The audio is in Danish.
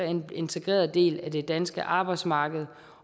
en integreret del af det danske arbejdsmarked